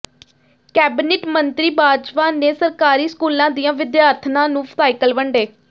cabinet ਮੰਤਰੀ ਬਾਜਵਾ ਨੇ ਸਰਕਾਰੀ ਸਕੂਲਾਂ ਦੀਆਂ ਵਿਦਿਆਰਥਣਾਂ ਨੂੰ ਸਾਈਕਲ ਵੰਡੇ